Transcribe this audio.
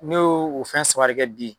Ne y'o o fɛn saba de kɛ bi.